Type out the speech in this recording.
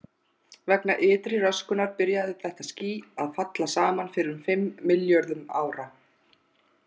Vegna ytri röskunar byrjaði þetta ský að falla saman fyrir um fimm milljörðum ára.